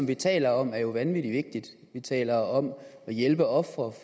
vi taler om er jo vanvittig vigtigt vi taler om at hjælpe ofre